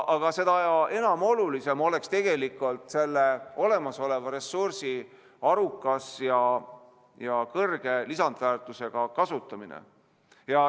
Aga seda olulisem oleks tegelikult selle olemasoleva ressursi arukas ja kõrge lisandväärtusega kasutamine.